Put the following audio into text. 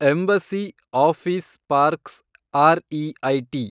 embassy Office Parks REIT